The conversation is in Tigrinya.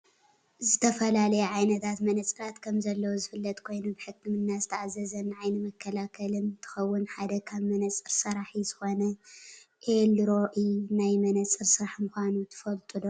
ዝተፈላለዩ ዓይነታት መነፅራት ከምዘለው ዝፍለጥ ኮይኑ ብሕክምና ዝተኣዘዘን ንዓይኒ መከላከልን እንትከውን ሓደ ካብ መነፅር ሰራሒ ዝኮነ ኤልሮኢ ናይ መነፅር ስራሕ ምኳኑ ትፈልጡ ዶ ?